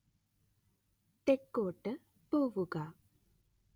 തെക്കോട്ട് പോവുക